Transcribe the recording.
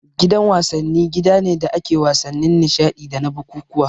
Gidan wasanni gida ne da ake wasannin nishadi dana bukukkuwa